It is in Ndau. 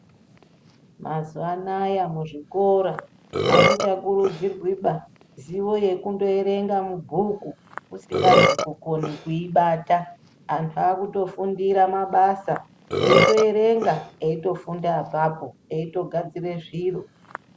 Mazuwa anaya muzvikora, amuchakurudzirwiba zivo yekundoerenga bhuku usingazwi kuibata. Antu aakutofundira mabasa, eitoerenga, eitofunda apapo, eitogadzire zviro.